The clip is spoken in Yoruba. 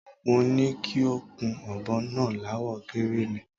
Mo ni kí o kun ò̩bo̩ náà láwo̩ gíríìnì.